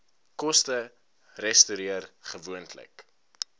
koste resorteer gewoonlik